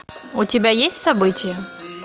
у тебя есть событие